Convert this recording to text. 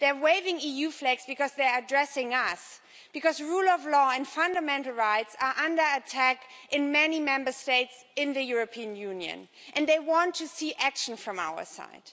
They are waving EU flags because they are addressing us, because the rule of law and fundamental rights are under attack in many Member States in the European Union and they want to see action from our side.